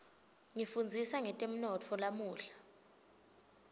ngifundzisa ngetemnotfo lamuhla